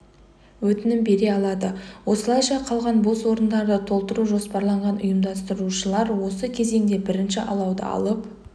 өтінім бере алады осылайша қалған бос орындарды толтыру жоспарланған ұйымдастырушылар осы кезеңде бірінші алауды алып